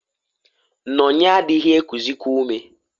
"Nonye adịghị ekuzịkwa ume".